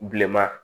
Bilenman